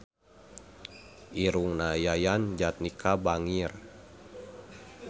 Irungna Yayan Jatnika bangir